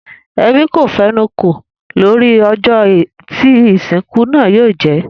Ebí kò fenu kò lórí ojó tí ìsìnkú náà yóò jé